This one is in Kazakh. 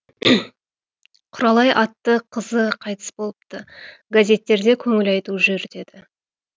құралай атты қызы қайтыс болыпты газеттерде көңіл айту жүр деді